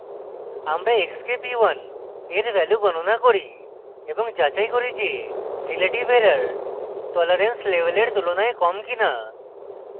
আমরা x k p one we value গনণা করি এবং তারপর যাচাই করি যে relative error tolerance level we তুলনায় কম কিনা